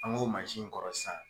An k'o in kɔrɔ sisan